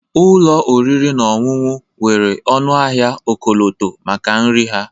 Ụlọ oriri na ọṅụṅụ nwere ọnụahịa ọkọlọtọ maka nri ha